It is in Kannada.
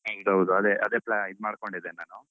ಹೌದ ಹೌದು ಅದೇ ಅದೇ plan ಇದ್ ಮಾಡ್ಕೊಂಡಿದ್ದೇನೆ ನಾನು.